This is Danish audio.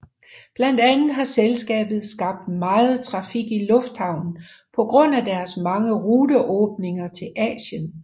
Blandt andet har selskabet skabt meget trafik i lufthavnen på grund af deres mange ruteåbninger til Asien